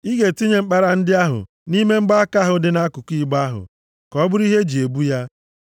Ị ga-etinye mkpara ndị ahụ nʼime mgbaaka ahụ dị nʼakụkụ igbe ahụ, ka ọ bụrụ ihe iji na-ebu ya.